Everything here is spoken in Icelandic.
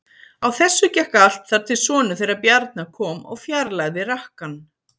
Á þessu gekk allt þar til sonur þeirra Bjarna kom og fjarlægði rakkann.